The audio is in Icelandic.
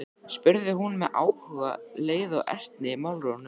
spurði hún með áhuga, leiða og ertni í málrómnum.